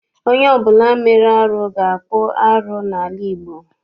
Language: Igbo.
Onye ọbụla mere arụ ga-akpụ arụ n'ala Igbo.